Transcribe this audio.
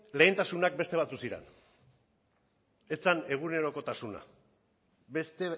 lehentasunak beste batzuk ziren ez zen egunerokotasuna beste